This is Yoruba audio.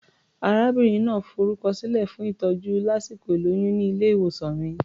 Arábìnrin náà forúkọsílẹ̀ fún ìtọ́jú lásìkò ìlóyún ní ilé-ìwòsàn mi.